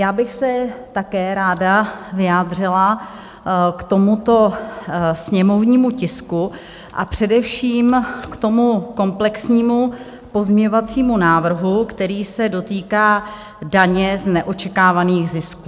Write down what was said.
Já bych se také ráda vyjádřila k tomuto sněmovnímu tisku, a především k tomu komplexnímu pozměňovacímu návrhu, který se dotýká daně z neočekávaných zisků.